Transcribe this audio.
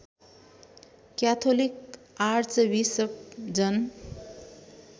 Catholic archbishop Jan